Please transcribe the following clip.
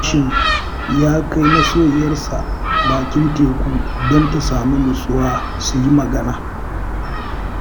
Hashim ya kai masoyiyarsa bakin teku don ta samu nutsuwa su yi magana